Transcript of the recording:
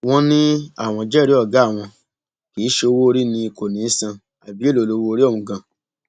wọn ní àwọn jẹrìí ọgá àwọn kì í ṣe owóorí ni kò ní í san àbí èèlò lowóorí ọhún ganan